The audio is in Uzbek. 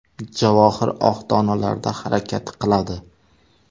Javohir oq donalarda harakat qiladi.